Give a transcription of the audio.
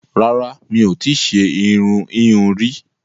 Rárá, mi ò tí ṣe irun ìhun rí